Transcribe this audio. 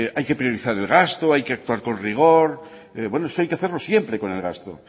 hay que priorizar el gastos hay que actuar con rigor bueno eso hay que hacerlo siempre con el gasto